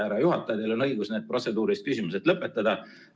Härra juhataja, teil on õigus need protseduurilised küsimused lõpetada.